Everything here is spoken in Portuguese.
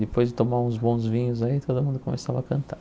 Depois de tomar uns bons vinhos aí, todo mundo começava a cantar.